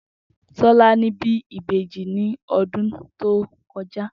Tó̩lání bí ìbejì ní odún tó ko̩já